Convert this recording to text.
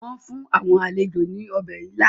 Wọ́n fún àwọn àlejò ní ọbẹ̀ ila.